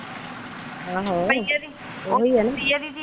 ਆਹੋ ਕਈ ਵਾਰੀ ਓਹੀ ਆਣਾ ਕਈ ਵਾਰੀ।